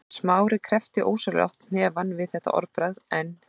Smári kreppti ósjálfrátt hnefann við þetta orðbragð en